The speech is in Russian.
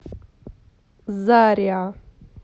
зариа